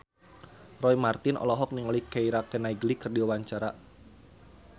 Roy Marten olohok ningali Keira Knightley keur diwawancara